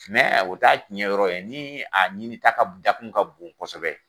o t'a tiɲɛ yɔrɔ ye, ni a ɲini ta, dakun ka bon kosɛbɛ